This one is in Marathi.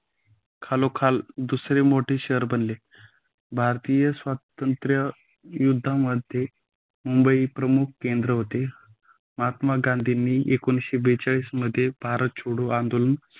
खालोखाल दुसरे मोठे शहर बनले. भारतीय स्वतंत्र युद्धामध्ये मुंबई प्रमुख केंद्र होते. महात्मा गांधी ने एकोणीसशे बेचाळीस मध्ये भारत छोडो आदलं